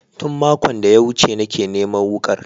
Tun makon da ya wuce nake neman wukar